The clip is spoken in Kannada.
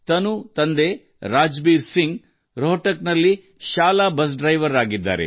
ತನು ಅವರ ತಂದೆ ರಾಜ್ಬೀರ್ ಸಿಂಗ್ ರೋಹ್ಟಕ್ನಲ್ಲಿ ಶಾಲಾ ಬಸ್ ಚಾಲಕ